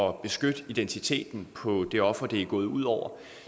at beskytte identiteten på det offer det er gået ud over